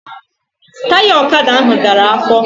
Taya ọkada ahụ dara afọ